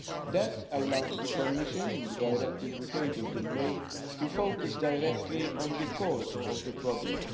That allowed the Commission, in the directive we tabled in May, to focus directly on the cause of the problem.